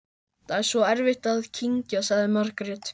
Það er svo erfitt að kyngja, sagði Margrét.